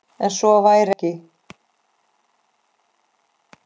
En svo væri ekki.